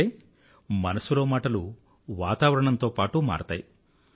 అంటే మనసులో మాటలు వాతావరణంతో పాటూ మారతాయి